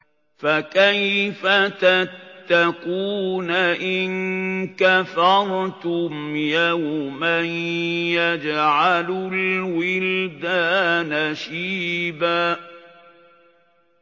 فَكَيْفَ تَتَّقُونَ إِن كَفَرْتُمْ يَوْمًا يَجْعَلُ الْوِلْدَانَ شِيبًا